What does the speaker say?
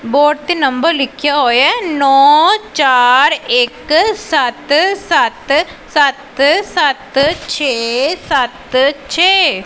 Board ਤੇ number ਲਿਖਿਆ ਹੋਇਆ ਨੋ ਚਾਰ ਇੱਕ ਸੱਤ ਸੱਤ ਸੱਤ ਸੱਤ ਛੇ ਸੱਤ ਛੇ।